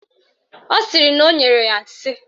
Ọ sịrị na o nyere ya nsị